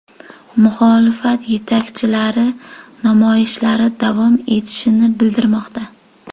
Muxolifat yetakchilar namoyishlar davom etishini bildirmoqda.